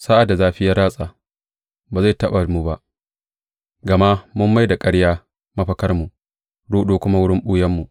Sa’ad da zafi ya ratsa, ba zai taɓa mu ba, gama mun mai da ƙarya mafakarmu ruɗu kuma wurin ɓuyanmu.